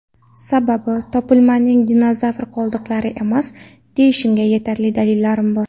Sababi, topilmaning dinozavr qoldiqlari emas, deyishimga yetarli dalillarim bor.